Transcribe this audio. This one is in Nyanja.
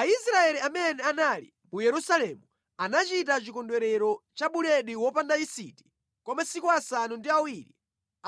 Aisraeli amene anali mu Yerusalemu anachita chikondwerero cha Buledi Wopanda Yisiti kwa masiku asanu ndi awiri